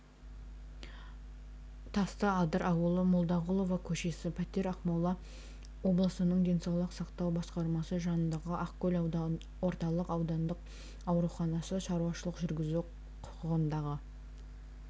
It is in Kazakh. тастыадыр ауылы молдағұлова көшесі пәтер ақмола облысының денсаулық сақтау басқармасы жанындағы ақкөл орталық аудандық ауруханасы шаруашылық жүргізу құқығындағы